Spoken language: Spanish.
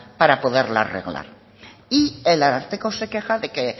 para poderla arreglar y el ararteko se queja de que